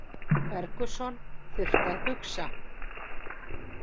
Ferguson þurfti að hugsa